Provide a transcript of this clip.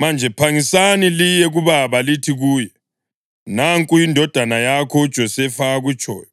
Manje, phangisani liye kubaba lithi kuye, ‘Nanku indodana yakho uJosefa akutshoyo: